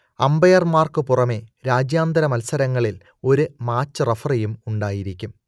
അമ്പയർമാർക്കു പുറമേ രാജ്യാന്തര മത്സരങ്ങളിൽ ഒരു മാച്ച് റഫറിയും ഉണ്ടായിരിക്കും